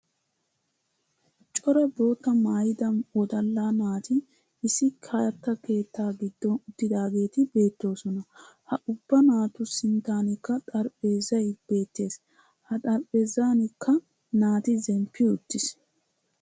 Cora boottaa maayida wodalla naati issi katta keettaa giddon uttidaageeti beettoosona. Ha ubba naatu sinttanikka xaraphpheezzay beettes ha xarapheezzanikka naati zemppi uttis.